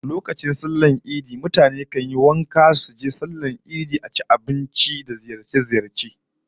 Lokacin bukunkunan sallah mutane kan yi kwalliya suje sallar idi, su ci abinci kala-kala, sannan su yi yawon ziyarce-ziyarce